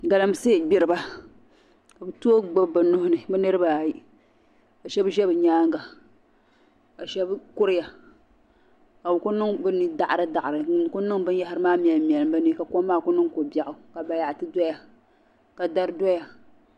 Galamsee gbiriba ka bɛ tooi gbubi bɛ nuhi ni bɛ niriba ayi ka shɛba ʒe bɛ nyaaŋa ka shɛba kuriya ka bɛ ku niŋ bɛ ni daɣiridaɣiri n-ku niŋ binyɛhiri mɛlimmɛlim bɛ ni ka kom ku niŋ ko'biɛɣu ka bayaɣiti doya ka dari doya.